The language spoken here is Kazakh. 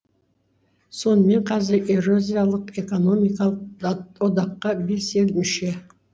сонымен қазір еуразиялық экономикалық одаққа бес ел мүше